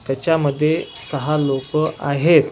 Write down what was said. त्याच्यामध्ये सहा लोक आहेत.